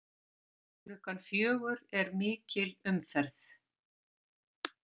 Klukkan fjögur er mikil umferð.